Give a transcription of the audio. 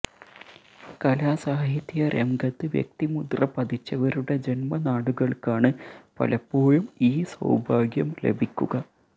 കലാസാഹിത്യ രംഗത്ത് വ്യക്തിമുദ്ര പതിച്ചവരുടെ ജന്മനാടുകള്ക്കാണ് പലപ്പോഴും ഈ സൌഭാഗ്യം ലഭിക്കുക